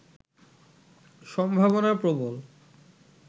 সম্ভাবনা প্রবল